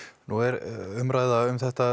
nú er umræða um þetta